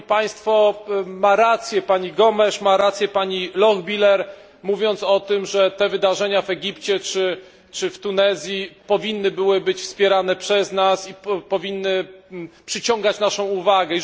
Ma rację pani Gomes, ma rację pani Lochbihler, mówiąc o tym, że te wydarzenia w Egipcie, czy w Tunezji powinny być przez nas wspierane i powinny przyciągać naszą uwagę.